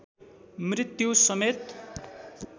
मृत्यु समेत